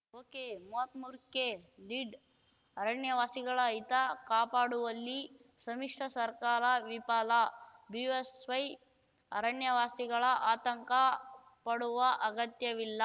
ಒಕೆಮೂವತ್ ಮೂರಕ್ಕೆ ಲೀಡ್‌ ಅರಣ್ಯವಾಸಿಗಳ ಹಿತ ಕಾಪಾಡುವಲ್ಲಿ ಸಮ್ಮಿಶ್ರ ಸರ್ಕಾರ ವಿಫಲ ಬಿಎಸ್‌ವೈ ಅರಣ್ಯವಾಸಿಗಳ ಆತಂಕ ಪಡುವ ಅಗತ್ಯವಿಲ್ಲ